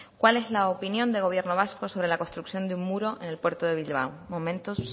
cuál es la opinión de gobierno vasco sobre la construcción de un muro en el puerto de bilbao momentuz